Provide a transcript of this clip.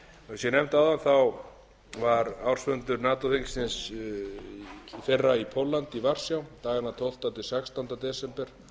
ég nefndi áðan var ársfundur nato þingsins í fyrra í varsjá í póllandi dagana tólfta til sextánda desember